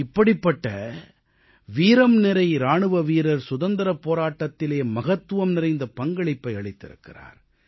இப்படிப்பட்ட வீரம்நிறை இராணுவ வீரர் சுதந்திரப் போராட்டத்திலே மகத்துவம் நிறைந்த பங்களிப்பை அளித்திருக்கிறார்